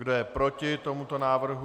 Kdo je proti tomuto návrhu?